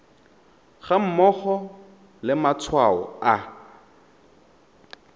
ga mmogo le matshwao a